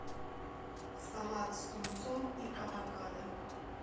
салат с тунцом и авокадо